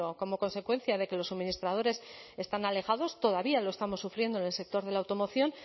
como consecuencia de que los suministradores están alejados todavía lo estamos sufriendo en el sector de la automoción